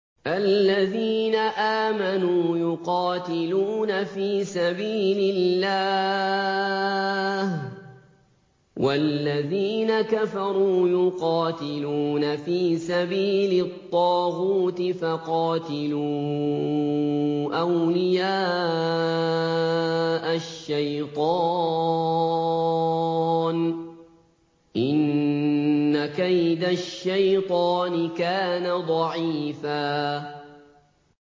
الَّذِينَ آمَنُوا يُقَاتِلُونَ فِي سَبِيلِ اللَّهِ ۖ وَالَّذِينَ كَفَرُوا يُقَاتِلُونَ فِي سَبِيلِ الطَّاغُوتِ فَقَاتِلُوا أَوْلِيَاءَ الشَّيْطَانِ ۖ إِنَّ كَيْدَ الشَّيْطَانِ كَانَ ضَعِيفًا